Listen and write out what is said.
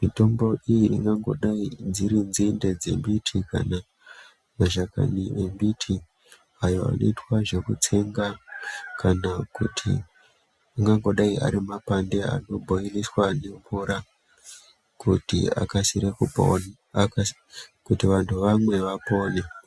Mitombo iyi ingangodai dziri nzinde dzembiti kana mashakani embiti. Ayo anoita zvekutsenga kana kuti angangodai ari mapande anobhoiriswa nemvura. Kuti akasire kupona kuti vantu vamwe vapone.